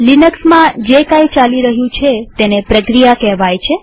લિનક્સમાં જે કઈ ચાલી રહ્યું છે તેને પ્રક્રિયા કહેવાય છે